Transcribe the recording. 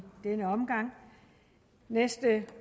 denne omgang næste